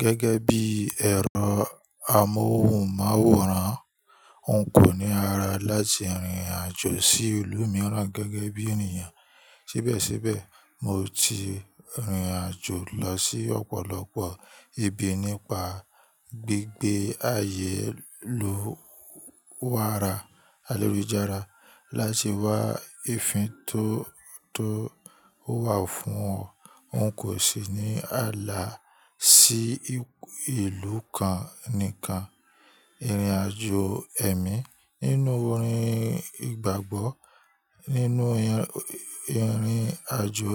Gẹ́gẹ́ bí ẹ̀rọ amóhùnmáwòrán, n kò ní ara láti rìnrìn àjò sí ìlú mìíràn gẹ́gẹ́ bí ènìyàn. Síbẹ̀síbẹ̀, mo ti rìnrìn àjò lọ sí ọ̀pọ̀lọpọ̀ ibi nípa gbígbé ayélùwàra, ayelujárá láti wá ìfín tó, tó wà fún wọn. N kò sì ní àlá sí ìlú kan nìkan. Ìrìnàjò ẹ̀mí. Nínú orin ìgbàgbọ́, nínú ìrìnàjò